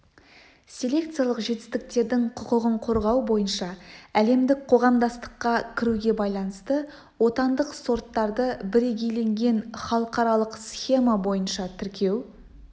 селекциялық жетістіктердің құқығын қорғау бойынша әлемдік қоғамдастыққа кіруге байланысты отандық сорттарды бірегейленген халықаралық схема бойынша тіркеу